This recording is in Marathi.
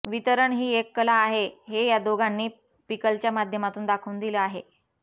वितरण ही एक कला आहे हे या दोघांनी पिकलच्या माध्यमातून दाखवून दिलं आहे